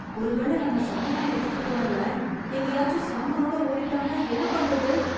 ஒருவேளை நம்ம சாமான எடுத்துட்டுப் போனவன் எங்கேயாச்சு சாமானோட ஓடிட்டான்னா என்ன பண்றது?